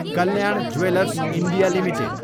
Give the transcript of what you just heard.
Kalyan jewellers India Ltd